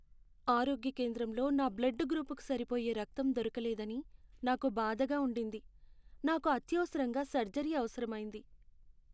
ఆరోగ్య కేంద్రంలో నా బ్లడ్ గ్రూపుకు సరిపోయే రక్తం దొరకలేదని నాకు బాధగా ఉండింది. నాకు అత్యవసరంగా సర్జరీ అవసరమైంది.